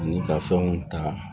Ani ka fɛnw ta